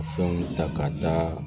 Fɛnw ta ka taa